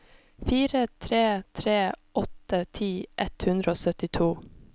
fire tre tre åtte ti ett hundre og syttito